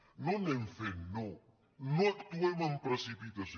no anem fent no no actuem amb precipitació